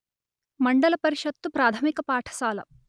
మండల పరిషత్తు ప్రాధమిక పాఠశాల